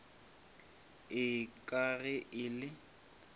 ee ka ge e le